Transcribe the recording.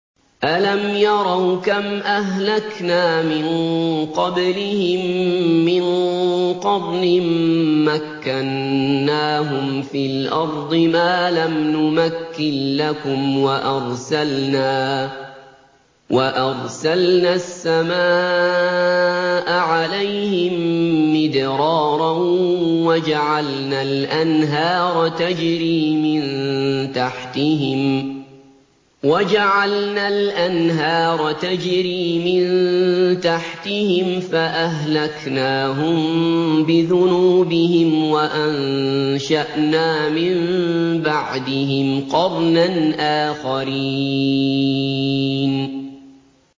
أَلَمْ يَرَوْا كَمْ أَهْلَكْنَا مِن قَبْلِهِم مِّن قَرْنٍ مَّكَّنَّاهُمْ فِي الْأَرْضِ مَا لَمْ نُمَكِّن لَّكُمْ وَأَرْسَلْنَا السَّمَاءَ عَلَيْهِم مِّدْرَارًا وَجَعَلْنَا الْأَنْهَارَ تَجْرِي مِن تَحْتِهِمْ فَأَهْلَكْنَاهُم بِذُنُوبِهِمْ وَأَنشَأْنَا مِن بَعْدِهِمْ قَرْنًا آخَرِينَ